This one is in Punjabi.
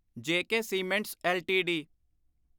ਜੇ ਕੇ ਸੀਮੈਂਟਸ ਐੱਲਟੀਡੀ